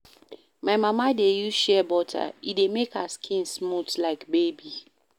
My mama dey use shea butter, e dey make her skin smooth like baby.